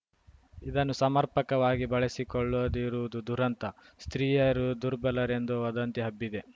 ಇದನ್ನು ಸಮರ್ಪಕವಾಗಿ ಬಳಸಿಕೊಳ್ಳದಿರುವುದು ದುರಂತ ಸ್ತ್ರೀಯರು ದುರ್ಬಲರೆಂದು ವದಂತಿ ಹಬ್ಬಿದೆ